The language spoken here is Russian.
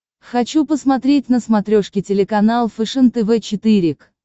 хочу посмотреть на смотрешке телеканал фэшен тв четыре к